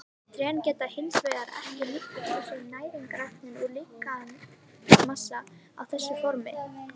Trén geta hins vegar ekki nýtt sér næringarefni úr lífmassanum á þessu formi.